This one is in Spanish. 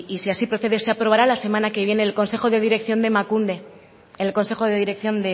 si así procede se aprobará la semana que viene en el consejo de dirección